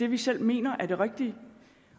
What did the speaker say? vi selv mener er det rigtige